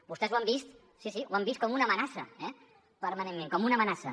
vostès ho han vist sí sí ho han vist com una amenaça permanentment com una amenaça